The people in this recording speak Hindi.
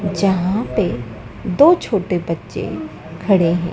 जहां पे दो छोटे बच्चे खड़े हैं।